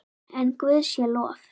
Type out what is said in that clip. En Guði sé lof.